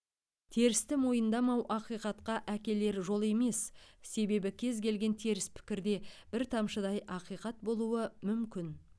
терісті мойындамау ақиқатқа әкелер жол емес себебі кез келген теріс пікірде бір тамшыдай ақиқат болуы мүмкін